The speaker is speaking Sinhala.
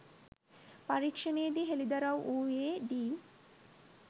පරීක්ෂණයේ දී හෙලිදරව් වුයේ ඩී.